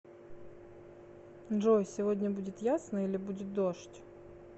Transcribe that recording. джой сегодня будет ясно или будет дождь